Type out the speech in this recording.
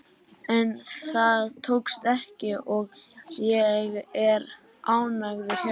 En það tókst ekki og ég er ánægður hérna.